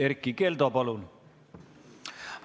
Erkki Keldo, palun!